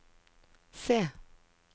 C